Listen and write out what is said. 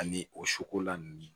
Ani o sokola ninnu